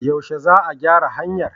Yaushe za a gyara hanyar?